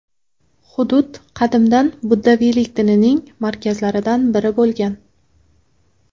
Hudud qadimdan buddaviylik dinining markazlaridan biri bo‘lgan.